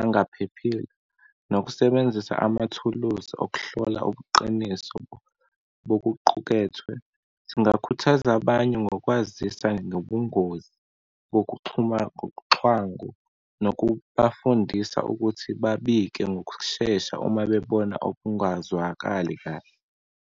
angaphephile, nokusebenzisa amathuluzi okuhlola ubuqiniso bokuqukethwe. Singakhuthaza abanye ngokwazisa ngobungozi bokuxhuma nokubafundisa ukuthi babike ngokushesha uma bebona okungazwakali kahle.